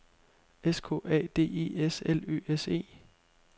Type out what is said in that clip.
S K A D E S L Ø S E